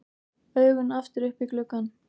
Augun aftur upp í gluggann.